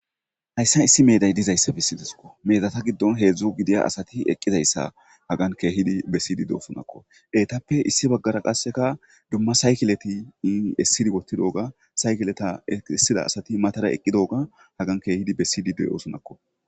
Hayssan issi meday dizayssa bessidessikko. Medata giddon hedzdzu giddiya asatti iqqizayssa haggan keehi bessididosonnakko. Etappekka issi baggara qasekka dumma saykiletti essida woththtidigga saykiletta essida asatti matara eqqidogga haggan keehiddi bessidi de'ossonakko.